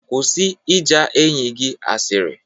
Kwụsị ịja enyi gị asịrị